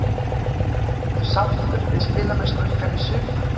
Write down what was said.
Ertu sáttur við spilamennsku ykkar í sumar?